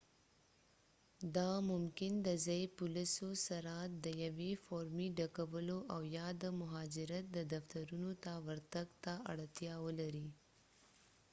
دا ممکن د ځایي پولیسو سره د یوې فورمې ډکولو او یا د مهاجرت د دفترونو ته ورتګ ته اړتیا ولري